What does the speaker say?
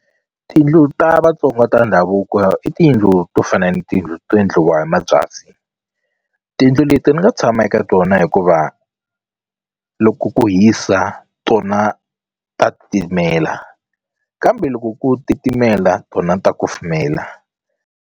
Tiyindlu ta Vatsonga ta ndhavuko i tiyindlu to fana na tiyindlu to endliwa hi mabyasi tiyindlu leti ni nga tshama eka tona hikuva loko ku hisa tona ta titimela kambe loko ku titimela tona ta kufumela.